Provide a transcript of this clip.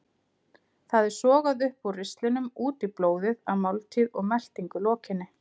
Það er sogað upp úr ristlinum út í blóðið að máltíð og meltingu lokinni.